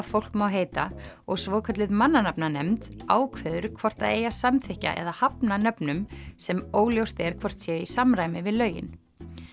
fólk má heita og svokölluð mannanafnanefnd ákveður hvort það eigi að samþykkja eða hafna nöfnum sem óljóst er hvort séu í samræmi við lögin